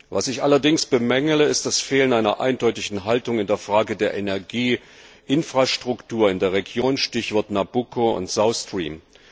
Was ich allerdings bemängele, ist das Fehlen einer eindeutigen Haltung in der Frage der Energieinfrastruktur in der Region Stichworte Nabucco und South Stream